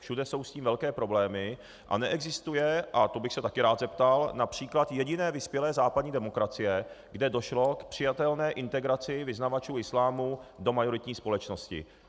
Všude jsou s tím velké problémy a neexistuje, a to bych se také rád zeptal, například jediná vyspělá západní demokracie, kde došlo k přijatelné integraci vyznavačů islámu do majoritní společnosti.